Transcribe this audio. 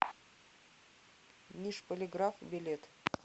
нижполиграф билет